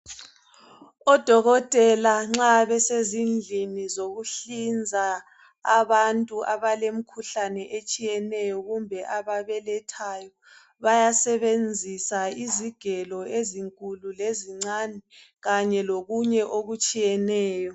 Odokotela nxa besezindlini zokuhlinza abantu abalemikhuhlane etshiyeneyo kumbe ababelethayo bayasebenzisa izigelo ezinkulu lezincane kanye lokunye okutshiyeneyo.